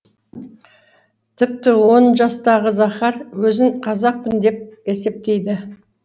тіпті он жастағы захар өзін қазақпын деп есептейді